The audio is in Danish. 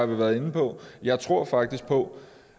været inde på jeg tror faktisk på